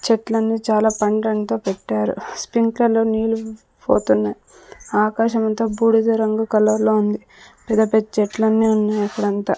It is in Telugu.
చెట్లన్నీ చాలా తో పెట్టారు స్ప్రింకలో నీళ్లు పోతున్నాయ్ ఆకాశమంత బూడిద రంగు కలర్ లో ఉంది. పెద్ద పెద్ద చెట్లన్నీ ఉన్నాయి అక్కడ అంతా.